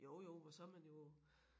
Jo jo og så man jo